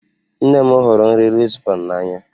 Nne m hụrụ nri Lisbon n'anya